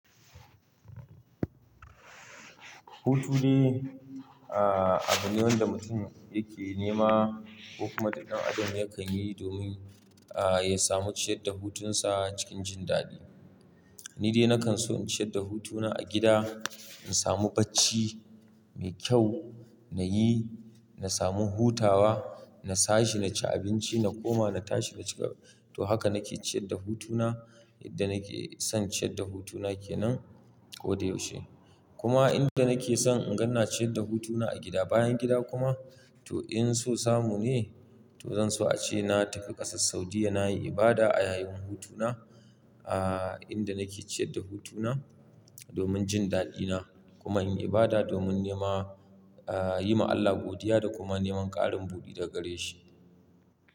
Hutu dai, ah abine wanda mutum yake nema ko kuma ɗan adam yakan yi domin ah ya samu ciyar da hutunsa cikin jin daɗi. Ni dai nakan so in ciyar da hutuna a gida, in samu bacci mai kyau nayi, na samu hutawa, na. Ta shi naci abinci na koma na tashi na cika. To haka nake ciyar da hutuna yadda nake son ciyar da hutuna ke nan ko da yaushe. Kuma inda nake son in gan ciyar da hutuna a gida bayan gida kuma, to in so samu ne to zan so a ce na tafi ƙasar Saudiyya nayi ibada a yayin hutuna ah inda nake ciyar da hutuna domin jin daɗina kuma in yi ibada domin nema ah yi ma Allah godiya da kuma neman ƙarin buɗi daga gare shi.